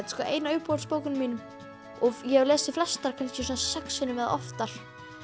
sko ein af uppáhaldsbókunum mínum og ég hef lesið flestar kannski svona sex sinnum eða oftar